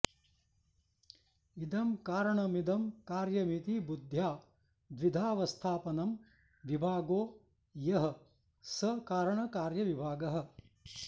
इदं कारणमिदं कार्यमिति बुद्ध्या द्विधावस्थापनं विभागो यः स कारणकार्यविभागः